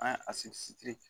An ye a